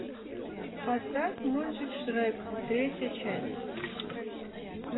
поставь мультик шрек третья часть